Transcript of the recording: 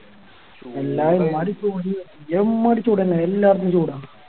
എമ്മാരി ചൂടാനെ എല്ലാർക്കും ചൂട